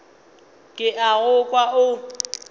ke a go kwa o